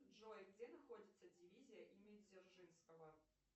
джой где находится дивизия имени дзержинского